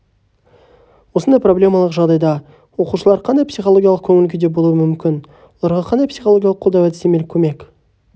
осындай проблемалық жағдайда оқушылар қандай психологиялық көңіл күйде болуы мүмкін оларға қандай психологиялық қолдау әдістемелік көмек